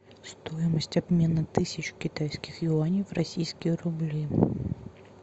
стоимость обмена тысячи китайских юаней в российские рубли